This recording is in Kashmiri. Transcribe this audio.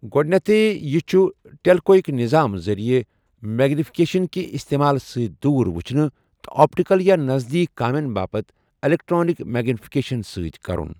گوڈنیتھٕے ، یہِ چھُ ٹیلِكویِك نِظام ذریعہ میگنِفِكیشن كہِ استیمال سۭتۍ دوٗر وُچھنہٕ تہٕ آپٹَكل یا نزدیك كامین باپت ایلیكٹرنِك میگنِفِكیشن سۭتۍ كرُن ۔